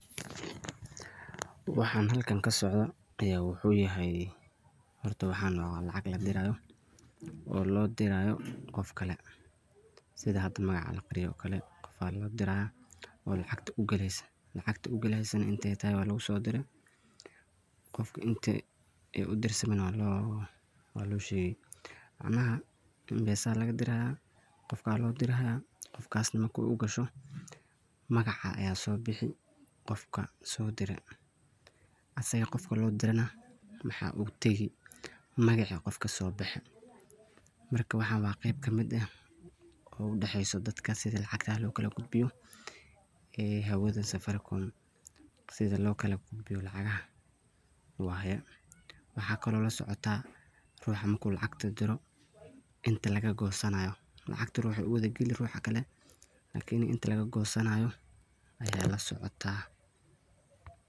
Waxan halkan kasocdo ayaa wuxu yahay horta waxan waa lacag ladirayo oo loodirayo qofkale sidha hada noocan oo kale qoof aan udira oo lacagtaa u galeeso, lacagta u gaaleso na intee tehe walugosidire qofka intay u dirsamin waa loo sheqi. Macnaha M-pesa lagadiraya qoof aa lo diray qofkaas na markay u gaasho magaca aya soo bixi qofka soo dire. Asiga qoofka loo dire na maxa ugu tagi magaca qofka soo baxe. Marka waxan waa qeeb kamid eeh oo udaxeyso dadka sidha lacagta u kala gudbiyo ee hawadha safaricom sidhan loo kalagudbiyo lacagaha waye. Waxa kala losoctaa ruxan marka lacagta diiro inta lagagosanayo lacgtan waxay uwadha gali ruxan kale lakiini inta lagagosanyo aya lasocotaa.